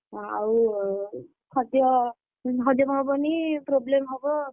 ହଁ ଆଉ ଖାଦ୍ୟ ହଜମ ହବନି problem ହବ।